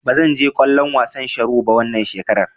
Ba zan je kallon wasan sharo ba wannan shekarar.